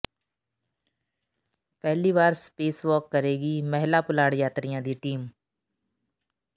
ਪਹਿਲੀ ਵਾਰ space walk ਕਰੇਗੀ ਮਹਿਲਾ ਪੁਲਾੜ ਯਾਤਰੀਆਂ ਦੀ ਟੀਮ